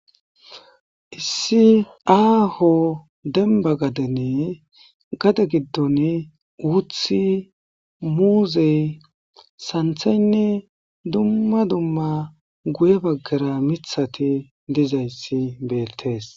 Lssi aaho denba gadene gade giddon wuthi muuzey santhaynne dumma dumma guye baggara mithati dizayssi beettees.